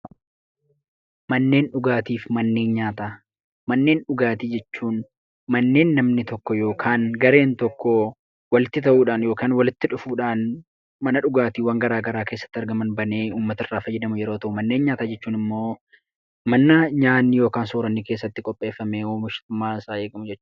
Manneen dhugaatii jechuun manneen namni tokko yookaan gareen tokko walitti ta'uudhaan yookaan walitti dhufuudhaan, mana dhugaatiiwwan garaa garaa keessatti argaman banee uummata irraa fayyadamu yeroo ta'u, manneen nyaataa jechuun immoo mana nyaatni yookaan sooranni keessatti qopheeffamee oomishummaa isaa eeggatu jechuudha.